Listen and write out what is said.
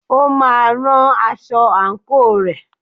O máa rán aṣọ àǹkóò rẹ̀.